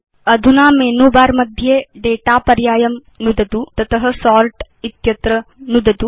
अधुना menu bar मध्ये data पर्यायं नुदतु तत सोर्ट् इत्यत्र नुदतु